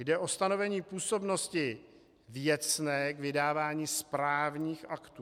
Jde o stanovení působnosti věcné k vydávání správních aktů.